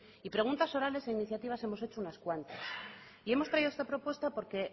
y preguntas orales e iniciativas hemos hecho unas cuantas y hemos traído esta propuesta porque